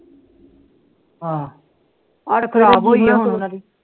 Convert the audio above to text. ਆਹ